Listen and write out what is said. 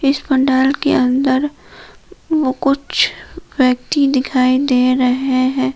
इस पंडाल के अंदर वो कुछ व्यक्ति दिखाई दे रहे हैं।